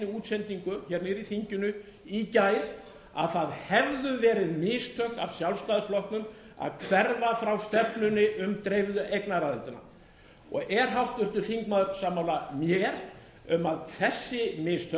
útsendingu hérna í þinginu í gær að það hefðu verið mistök af sjálfstæðisflokknum að hverfa frá stefnunni um dreifðu eignaraðildina og er háttvirtur þingmaður sammála mér um að þessi mistök sem